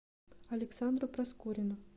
александру проскурину